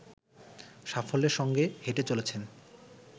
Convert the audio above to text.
সাফল্যের সঙ্গে হেঁটে চলেছেন